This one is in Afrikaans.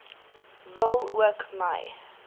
wil ook my